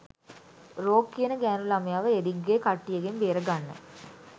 rogue කියන ගෑණු ළමයව එරික්ගේ කට්ටියගෙන් බේරගන්න